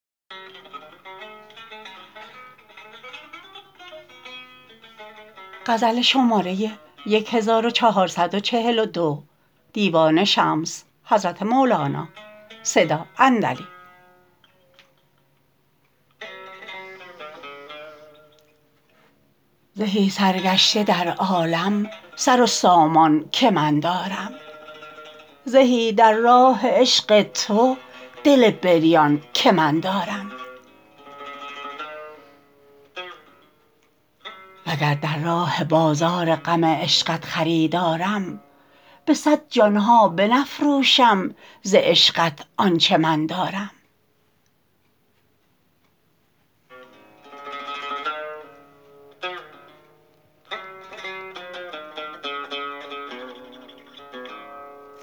زهی سرگشته در عالم سر و سامان که من دارم زهی در راه عشق تو دل بریان که من دارم وگر در راه بازار غم عشقت خریدارم به صد جان ها بنفروشم ز عشقت آنچ من دارم